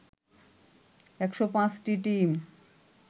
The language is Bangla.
১০৫টি টিম